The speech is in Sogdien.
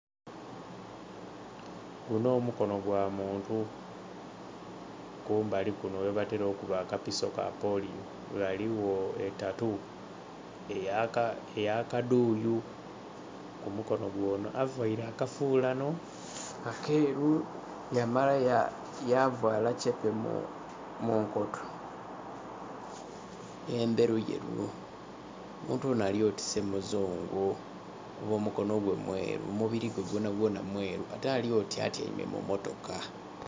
Guno mukono gwamuntu kumbali kuno kwebatera okubba akapiso kapoliyo ghaligho etatu eyakadhuyu kumukono gwono. Avaire akafulano akeru yamala yavala kyepe munkoto endheru yeru, omuntu ono alyoti se muzungu kuba omukonogwe mweru omubirigwe gwona gwona mweru ate alyoti atyaime mummotoka.